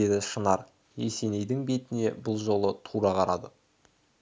деді шынар есенейдің бетіне бұл жолы тура қарады